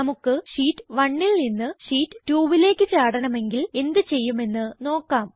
നമുക്ക് ഷീറ്റ് 1ൽ നിന്ന് ഷീറ്റ് 2ലേക്ക് ചാടണമെങ്കിൽ എന്ത് ചെയ്യുമെന്ന് നോക്കാം